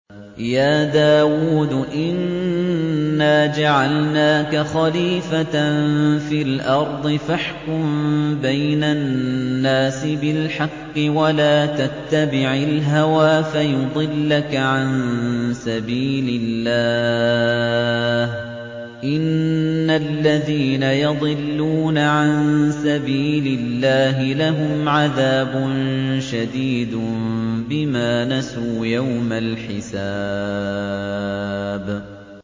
يَا دَاوُودُ إِنَّا جَعَلْنَاكَ خَلِيفَةً فِي الْأَرْضِ فَاحْكُم بَيْنَ النَّاسِ بِالْحَقِّ وَلَا تَتَّبِعِ الْهَوَىٰ فَيُضِلَّكَ عَن سَبِيلِ اللَّهِ ۚ إِنَّ الَّذِينَ يَضِلُّونَ عَن سَبِيلِ اللَّهِ لَهُمْ عَذَابٌ شَدِيدٌ بِمَا نَسُوا يَوْمَ الْحِسَابِ